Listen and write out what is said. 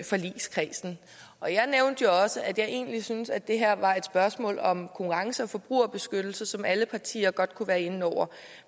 forligskredsen og jeg nævnte jo også at jeg egentlig synes at det her var et spørgsmål om konkurrence og forbrugerbeskyttelse som alle partier godt kunne være inde over